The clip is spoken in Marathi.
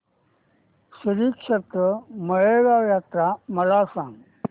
श्रीक्षेत्र माळेगाव यात्रा मला सांग